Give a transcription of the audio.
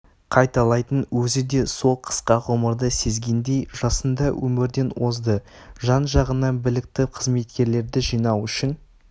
қайталайтын өзі де сол қысқа ғұмырды сезгендей жасында өмірден озды жанжағына білікті қызметкерлерді жинау үшін